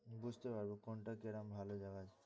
বুঝতে পারবো কোনটা কিরম ভালো জায়গা আছে।